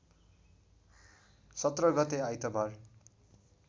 १७ गते आइतबार